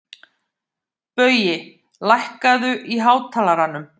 Baui, lækkaðu í hátalaranum.